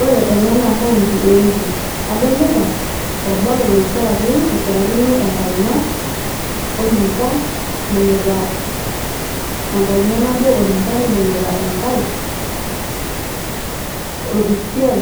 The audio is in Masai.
ore ena naa county e Embu . adolita orbao loichoraki ,loichorakino enkaina orinka ,ibungita enkaina nabo orinka ,nibungita enkae orpisiai .